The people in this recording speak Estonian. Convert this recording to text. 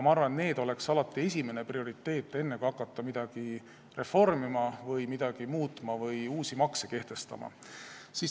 Ma arvan, et need on alati prioriteet, enne kui hakata midagi reformima, muutma või uusi makse kehtestama.